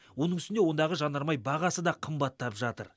оның үстіне ондағы жанармай бағасы да қымбаттап жатыр